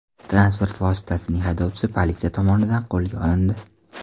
Transport vositasining haydovchisi politsiya tomonidan qo‘lga olindi.